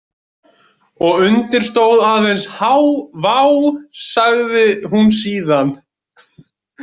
Og undir stóð aðeins H Vá, sagði hún síðan.